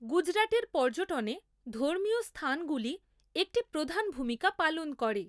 গুজরাটের পর্যটনে ধর্মীয় স্থানগুলি একটি প্রধান ভূমিকা পালন করে।